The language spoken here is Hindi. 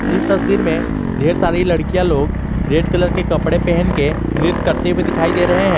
इस तस्वीर में ढेर सारी लड़कियां लोग रेड कलर के कपड़े पहन के नृत्य करते हुए दिखाई दे रहे हैं।